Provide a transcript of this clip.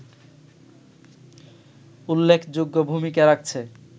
উল্লেখযোগ্য ভূমিকা রাখছে